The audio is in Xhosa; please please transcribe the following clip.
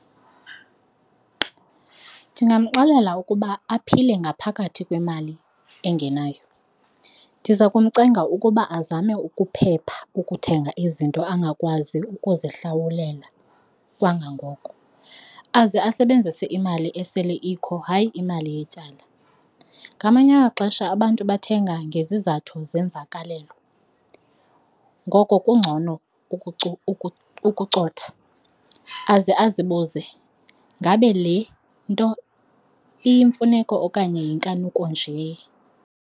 Ndingamxelela ukuba aphile ngaphakathi kwemali engenayo. Ndiza kumcenga ukuba azame ukuphepha ukuthenga izinto angakwazi ukuzihlawulela kangangoko aze asebenzise imali esele ikho, hayi imali yetyala. Ngamanye amaxesha abantu bathenga ngezizathu zemvakalelo ngoko ke kungcono ukucotha aze azibuze, ngabe le nto iyimfuneko okanye yinkanuko nje.